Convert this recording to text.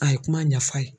A ye kuma ɲɛf'a ye